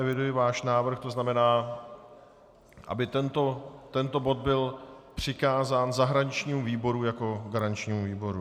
Eviduji váš návrh, to znamená, aby tento bod byl přikázán zahraničnímu výboru jako garančnímu výboru.